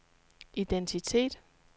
identitet